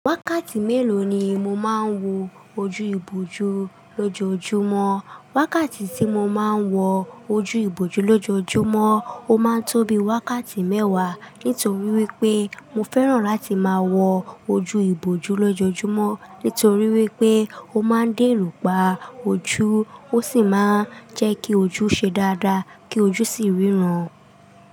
Wákàtí mélòó ni mo máa ń wo ojú ìbojú lójoojúmọ́? Wákàtí tí mo máa ń wọ ojú ìbojú lójoojúmọ́ ó máa ń tó bi wákàtí mẹ́wàá nítorí wípé mo fẹ́ràn láti máa wọ ojú ìbojú lójoojúmọ́ nítorí wípé ó máa ń dẹ́rù pa ojú ó sì máa ń jẹ́ kí ojú ṣe dáadáa kí ojú sì ríran.